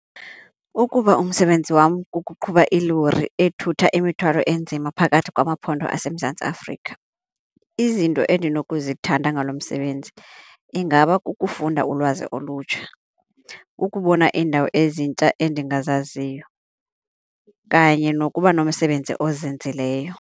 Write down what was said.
Ukuba umsebenzi wam kukuqhuba ilori ethutha imithwalo enzima phakathi kwamaphondo aseMzantsi Afrika, izinto endinokuzithatha ngalo msebenzi ingaba kukufunda ulwazi olutsha, kukubona iindawo ezintsha endingazaziyo kanye nokuba nomsebenzi ozinzileyo.